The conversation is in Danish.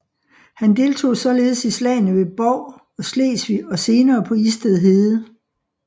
Han deltog således i slagene ved Bov og Slesvig og senere på Isted Hede